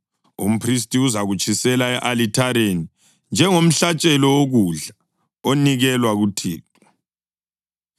Umphristi uzakutshisela e-alithareni njengomhlatshelo wokudla, onikelwa kuThixo.